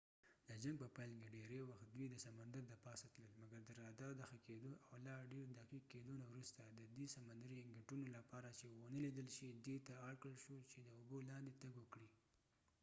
د جنګ په پیل کې ډیری وخت دوي د سمندر د پاسه تلل مګر د رادار د ښه کېدو او لا ډیر دقیق کېدو نه وروسته سمندرې انګوټونه submarines ددې لپاره چې ونه لیدل شي دي ته اړکړل شو چې داوبو لاندې تګ وکړي